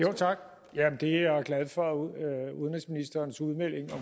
tak jeg er glad for udenrigsministerens udmelding